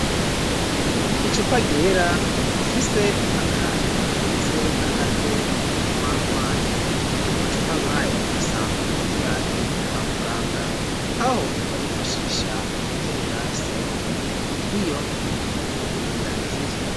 icupa ryera rifise akantu kameze nk'agatwe mu munwa waryo. amacupa nkaya dusanzwe tuyazi kwa muganga aho bayifashisha mu gutera serumu iyo umuntu yaremvye.